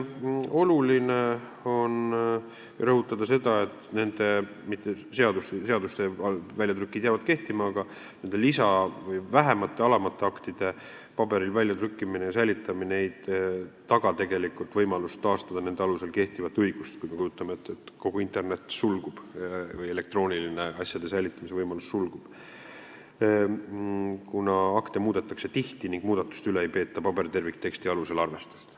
Oluline on rõhutada, et nende – mitte seaduste, seaduste väljatrükid jäävad – lisa- või vähemate, alamate aktide paberil väljatrükkimine ja säilitamine ei taga tegelikult võimalust taastada nende alusel kehtivat õigust, kui me kujutame ette, et kogu internet või asjade elektroonilise säilitamise võimalus sulgub, kuna akte muudetakse tihti ning muudatuste üle ei peeta paberterviktekstide alusel arvestust.